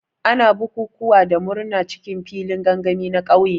Ana bukukuwa da murna cikin filin gangami na ƙauye.